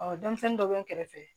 Ɔ denmisɛnnin dɔ bɛ n kɛrɛfɛ